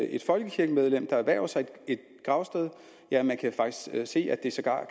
et folkekirkemedlem der erhverver sig et gravsted ja man kan faktisk se at det sågar